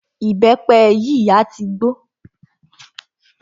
Ìbẹ́pẹ yìí a tí gbó.